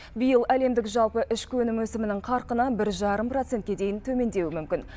биыл әлемдік жалпы ішкі өнім өсімінің қарқыны бір жарым процентке дейін төмендеуі мүмкін